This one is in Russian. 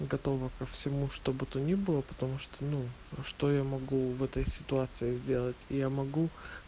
готова ко всему что бы то ни было потому что ну что я могу в этой ситуации сделать я могу